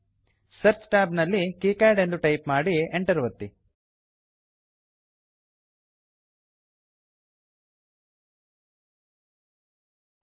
search tab ನಲ್ಲಿ KiCad KiCad ಎಂದು type ಮಾಡಿ ಎಂಟರ್ ಒತ್ತಿರಿ